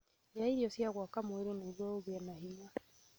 Rĩa irio cia gwaka mwĩrĩ nĩguo ũgĩe na hinya